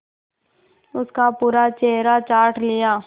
उसका पूरा चेहरा चाट लिया